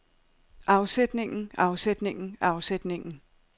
afsætningen afsætningen afsætningen